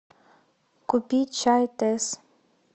купи чай тесс